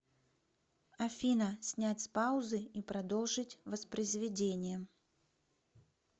афина снять с паузы и продолжить воспроизведение